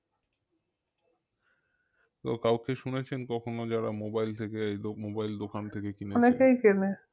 তো কাউকে শুনেছেন কখনো যারা mobile থেকে এই দো~ mobile দোকান থেকে